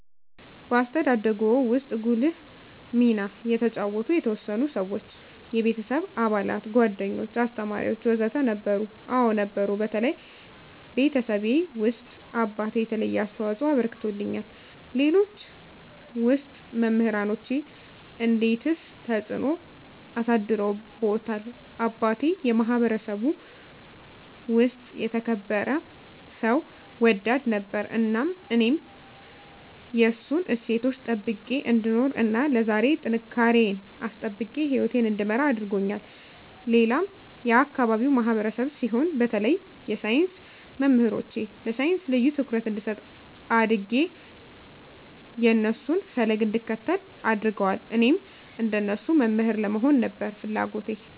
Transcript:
በአስተዳደግዎ ውስጥ ጉልህ ሚና የተጫወቱ የተወሰኑ ሰዎች (የቤተሰብ አባላት፣ ጓደኞች፣ አስተማሪዎች ወዘተ) ነበሩ? አዎ ነበሩ በተለይ ቤተሰቤ ውስጥ አባቴ የተለየ አስተዋፅኦ አበርክቶልኛል ሌሎች ውስጥ መምራኖቼ እንዴትስ ተጽዕኖ አሳድረውብዎታል አባቴ የማህበረሰቡ ውስጥ የተከበረ ሰው ወዳድ ነበር እናም እኔም የእሱን እሴቶች ጠብቄ እንድኖር እና ለዛሬ ጥንካሬየን አስጠብቄ ህይወቴን እንድመራ አድርጎኛል ሌላም የአካባቢው ማህበረሰብ ሲሆን በተለይ የሳይንስ መምህሮቼ ለሳይንስ ልዬ ትኩረት እንድሰጥ አድጌ የእነሱን ፈለግ እንድከተል አድርገዋል እኔም እንደነሱ መምህር ለመሆን ነበር ፍለጎቴ